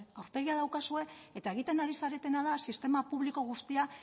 aurpegia daukazue eta egiten ari zaretena da sistema publiko guztia